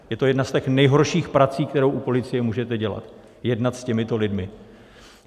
Je to jedna z těch nejhorších prací, kterou u policie můžete dělat, jednat s těmito lidmi.